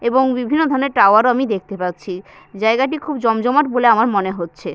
এবং বিভিন্ন ধরনের টাওয়ার ও আমি দেখতে পাচ্ছি জায়গাটি খুব জমজমাট বলে আমার মনে হচ্ছে।